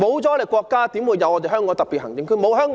沒有國家，何來香港特別行政區？